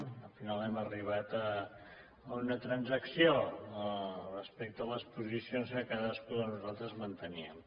al final hem arribat a una transacció respecte a les posicions que cadascú de nosaltres mantenia